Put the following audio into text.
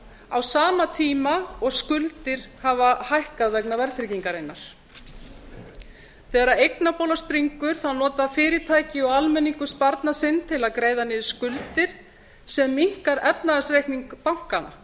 á sama tíma og skuldir hafa hækkað vegna verðtryggingarinnar þegar eignabóla springur nota fyrirtæki og almenningur sparnað sinn til að greiða niður skuldir sem minnkar efnahagsreikninga bankanna